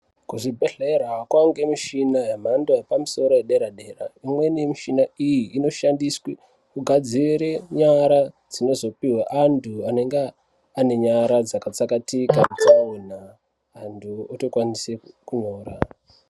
Kuzvibhedhlera kwavanikwe michina yemhando yepamusoro yedera-dera. Imweni yemichina iyi inoshandiswe kugadzire nyara dzinozopihwe antu anenge ane nyara dzakatsakatika mutsaona antu otokwanise kupona.